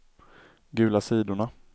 gula sidorna